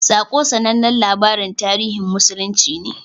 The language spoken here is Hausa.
"Saƙo" sanannen labarin tarihin musulunci ne.